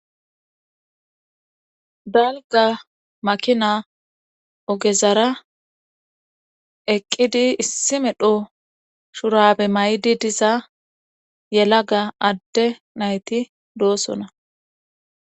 Dalga makina ogezara eqqidi issi medho shurabe maydi diza yelaga adde nayti doosona.